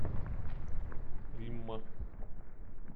римма